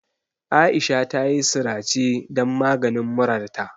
Aisha tayi sirace dan maganin murarta.